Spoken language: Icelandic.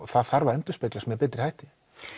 það þarf að endurspeglast með betri hætti